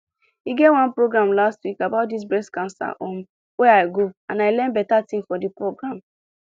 e get one program last week about dis breast cancer um wey i go and i learn beta tin for di program